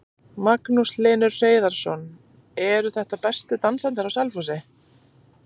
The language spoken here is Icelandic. Magnús Hlynur Hreiðarsson: Eru þetta bestu dansararnir á Selfossi?